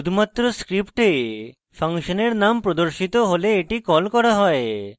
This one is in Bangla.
শুধুমাত্র script function এর name প্রদর্শিত হলে the কল করা হয়